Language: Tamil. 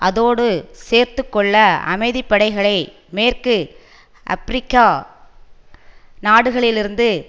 அதோடு சேர்த்து கொள்ள அமைதி படைகளை மேற்கு அப்ரிக்கா நாடுகளிலிருந்து